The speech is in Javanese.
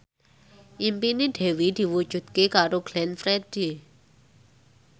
impine Dewi diwujudke karo Glenn Fredly